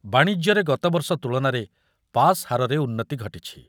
ବାଣିଜ୍ୟରେ ଗତବର୍ଷ ତୁଳନାରେ ପାସ୍ ହାରରେ ଉନ୍ନତି ଘଟିଛି ।